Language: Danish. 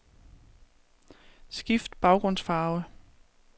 Skift baggrundsfarve.